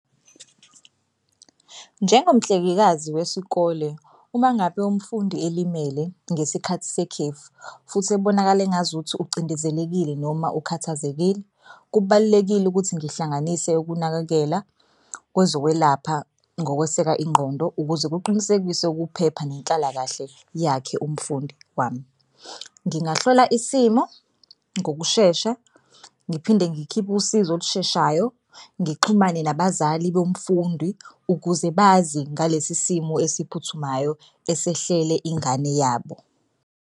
Njengomhlengekazi wesikole uma ngabe umfundi elimele ngesikhathi sekhefu futhi ebonakale engazuthi ucindezelekile noma ukhathazekile kubalulekile ukuthi ngihlanganise ukunakekela kwezokwelapha ngokweseka ingqondo ukuze kuqinisekiswe ukuphepha nenhlalakahle yakhe umfundi wami. Ngingahlola isimo ngokushesha ngiphinde ngikhiphe usizo olusheshayo, ngixhumane nabazali bomfundi ukuze bazi ngalesi simo esiphuthumayo esehlele ingane yabo.